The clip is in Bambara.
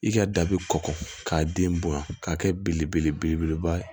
I ka da bɛ kɔkɔ k'a den bonya k'a kɛ belebeleba ye